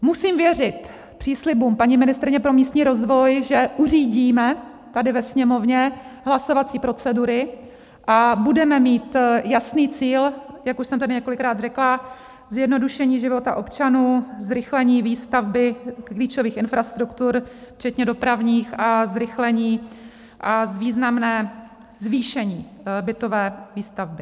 Musím věřit příslibům paní ministryně pro místní rozvoj, že uřídíme tady ve Sněmovně hlasovací procedury a budeme mít jasný cíl, jak už jsem tady několikrát řekla, zjednodušení života občanů, zrychlení výstavby klíčových infrastruktur včetně dopravních a zrychlení a významné zvýšení bytové výstavby.